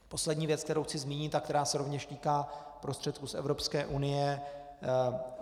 Poslední věc, kterou chci zmínit a která se rovněž týká prostředků z Evropské unie.